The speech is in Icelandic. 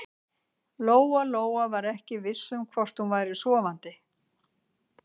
Lóa Lóa var ekki viss um hvort hún væri sofandi.